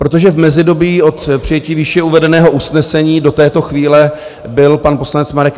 Protože v mezidobí od přijetí výše uvedeného usnesení do této chvíle byl pan poslanec Marek